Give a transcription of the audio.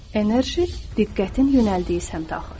Enerji diqqətin yönəldiyi səmtə axır.